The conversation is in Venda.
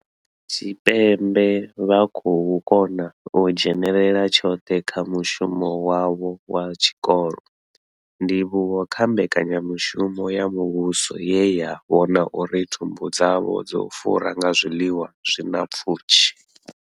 Tshipembe vha khou kona u dzhenela tshoṱhe kha mushumo wavho wa tshikolo, ndivhuwo kha mbekanya mushumo ya muvhuso ye ya vhona uri thumbu dzavho dzo fura nga zwiḽiwa zwi na pfushi.